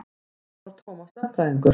Þetta var Tómas lögfræðingur.